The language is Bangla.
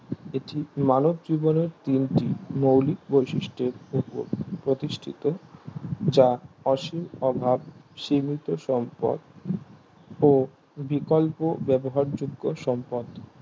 এটি মানব জীবনের তিনটি মৌলিক বৈশিষ্টের ওপর প্রতিষ্ঠিত যা অসীম অভাব সীমিত সম্পদ ও বিকল্প বেজহার যোগ্য সম্পদ